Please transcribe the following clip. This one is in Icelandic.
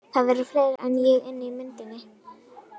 Það eru fleiri en ég inni í myndinni.